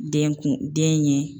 Den kun den ye